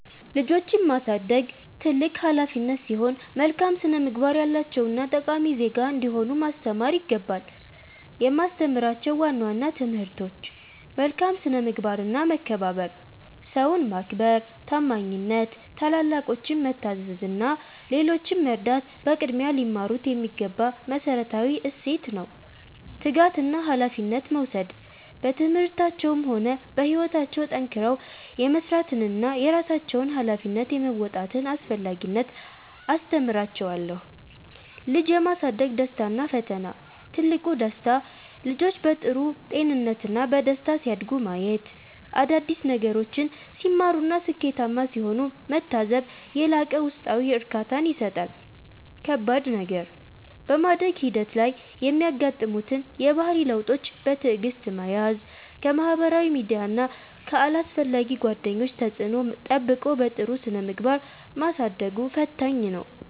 ልጆችን ማሳደግ ትልቅ ኃላፊነት ሲሆን፣ መልካም ስነ-ምግባር ያላቸውና ጠቃሚ ዜጋ እንዲሆኑ ማስተማር ይገባል። የማስተምራቸው ዋና ዋና ትምህርቶች፦ መልካም ስነ-ምግባርና መከባበር፦ ሰውን ማክበር፣ ታማኝነት፣ ታላላቆችን መታዘዝ እና ሌሎችን መርዳት በቅድሚያ ሊማሩት የሚገባ መሠረታዊ እሴት ነው። ትጋትና ኃላፊነት መውሰድ፦ በትምህርታቸውም ሆነ በሕይወታቸው ጠንክረው የመሥራትንና የራሳቸውን ኃላፊነት የመወጣትን አስፈላጊነት አስተምራቸዋለሁ። ልጅ የማሳደግ ደስታና ፈተና፦ ትልቁ ደስታ፦ ልጆች በጥሩ ጤንነትና በደስታ ሲያድጉ ማየት፣ አዳዲስ ነገሮችን ሲማሩና ስኬታማ ሲሆኑ መታዘብ የላቀ ውስጣዊ እርካታን ይሰጣል። ከባድ ነገር፦ በማደግ ሂደት ላይ የሚያጋጥሙትን የባህሪ ለውጦች በትዕግሥት መያዝ፣ ከማኅበራዊ ሚዲያና ከአላስፈላጊ ጓደኞች ተጽዕኖ ጠብቆ በጥሩ ስነ-ምግባር ማሳደጉ ፈታኝ ነው።